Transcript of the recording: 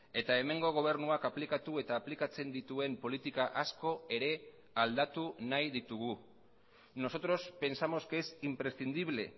eta hemengo gobernuak aplikatu eta aplikatzen dituen politika asko ere aldatu nahi ditugu nosotros pensamos que es imprescindible